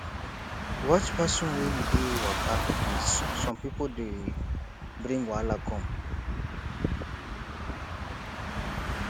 watch person wey you dey waka with some pipo dey bring wahala come